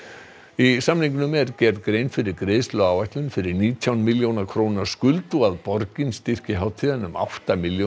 í samningnum er gerð grein fyrir greiðsluáætlun fyrir nítján milljón króna skuld og að borgin styrki hátíðina um átta milljónir